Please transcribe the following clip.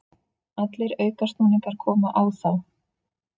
Allir aukasnúningar komu á þá.